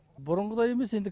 бұрынғыдай емес енді